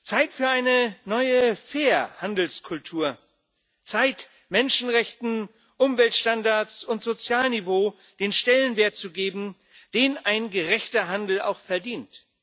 Zeit für eine neue Kultur des fairen Handels, Zeit, Menschenrechten, Umweltstandards und Sozialniveau den Stellenwert zu geben, den ein gerechter Handel auch verdient.